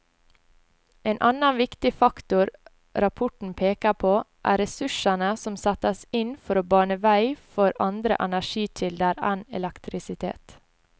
En annen viktig faktor rapporten peker på, er ressursene som settes inn for å bane vei for andre energikilder enn elektrisitet.